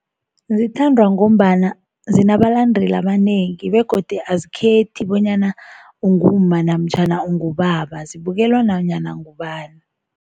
Zithandwa ngombana zinabalandeli abanengi begodu azikhethi bonyana ungumma namtjhana ungubaba, zibukelwa nanyana ngubani.